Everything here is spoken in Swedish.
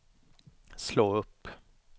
slå upp